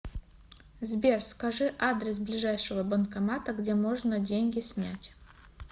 сбер скажи адрес ближайшего банкомата где можно деньги снять